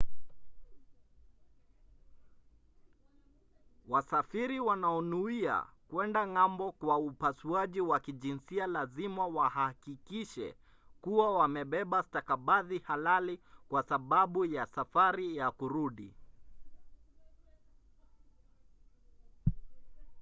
wasafiri wanaonuia kwenda ng'ambo kwa upasuaji wa kijinsia lazima wahakikishe kuwa wamebeba stakabadhi halali kwa sababu ya safari ya kurudi